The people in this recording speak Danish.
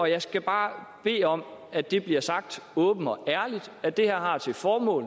jeg skal bare bede om at det bliver sagt åbent og ærligt at det her har til formål